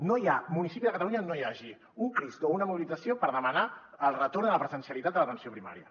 no hi ha municipi de catalunya on no hi hagi un crist o una mobilització per demanar el retorn de la presencialitat de l’atenció primària